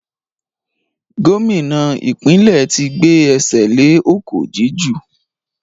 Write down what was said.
Gómìnà ìpínlẹ̀ tí gbé ẹsẹ̀ le ọ̀kọ̀ jíjù